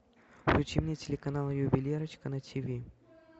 включи мне телеканал ювелирочка на тв